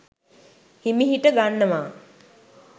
හිමිහිට ගන්නවා